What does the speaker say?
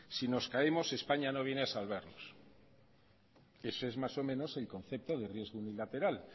si nos caemos españa no viene a salvarnos eso más o menos el concepto de riesgo unilateral